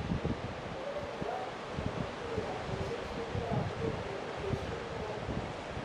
tigĩrĩra nĩwandirikania kũrĩha mbeca icio ndĩrahũthĩrire rũciũ kĩroko